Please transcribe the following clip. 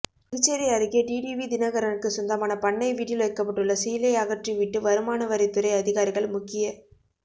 புதுச்சேரி அருகே டிடிவி தினகரனுக்கு சொந்தமான பண்ணை வீட்டில் வைக்கப்பட்ட சீலை அகற்றிவிட்டு வருமானவரித்துறை அதிகாரிகள் முக்கிய